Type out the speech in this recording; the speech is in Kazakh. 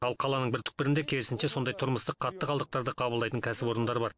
ал қаланың бір түкпірінде керісінше сондай тұрмыстық қатты қалдықтарды қабылдайтын кәсіпорындар бар